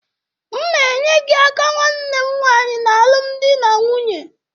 M na-enye gị aka nwanne m nwaanyị n'alụmdi na nwunye